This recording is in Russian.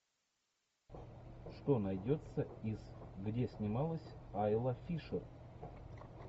что найдется из где снималась айла фишер